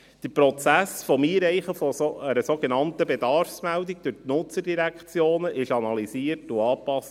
Der Prozess des Einreichens einer sogenannten Bedarfsmeldung durch die Nutzerdirektionen wurde analysiert und angepasst.